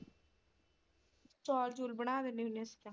ਚੌਲ ਚੂਲ ਬਣਾ ਦਿੰਨੀ ਹੁੰਨੀ ਆ।